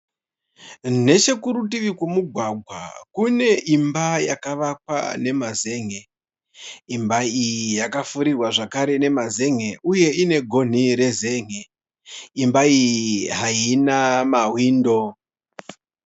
Nechekurutivi kwemugwagwa kune imba yakavakwa nemazen'e. Imba iyi yakapfirirwa zvakare nemazen'e uye ine gonhi rezen'e imba iyi hayina mawindo.